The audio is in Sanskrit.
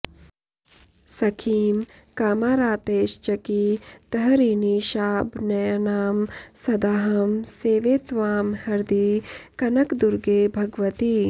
सखीं कामारातेश्चकितहरिणीशाबनयनां सदाहं सेवे त्वां हृदि कनकदुर्गे भगवति